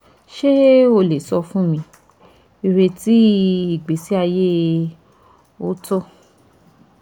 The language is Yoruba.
ṣe o le sọ fun mi ireti igbesi aye ooto